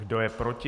Kdo je proti?